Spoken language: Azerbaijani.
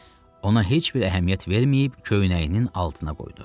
Ona heç bir əhəmiyyət verməyib, köynəyinin altına qoydu.